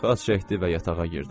Xaç çəkdi və yatağa girdi.